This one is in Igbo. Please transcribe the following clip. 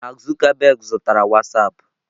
Mark Zuckerberg zutara Whastapp.